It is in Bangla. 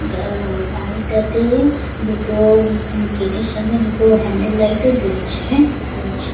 গঁ বাড়িটাতে দু-টো গেটের সামনে দুটো হ্যান্ডেল লাইট ও জ্বলছে জ্বল-ছে।